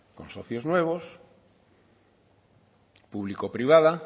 con socios nuevos público privada